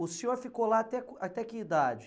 O senhor ficou lá até com, até que idade?